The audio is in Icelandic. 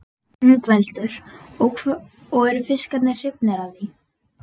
Ingveldur: Og eru fiskarnir hrifnir af því?